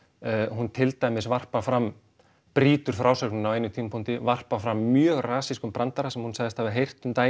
hún til dæmis varpar fram brýtur frásögnina á einum tímapunkti varpar fram mjög brandara sem hún sagðist hafa heyrt um daginn